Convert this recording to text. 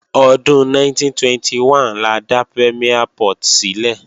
Ọdún 1921 la dá Premiere Port sílẹ̀